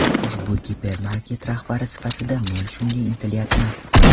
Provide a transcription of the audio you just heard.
Ushbu gipermarket rahbari sifatida men shunga intilyapman.